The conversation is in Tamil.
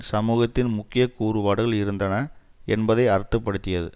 சமூகத்தின் முக்கிய கூறுபாடுகள் இருந்தன என்பதை அர்த்தப்படுத்தியது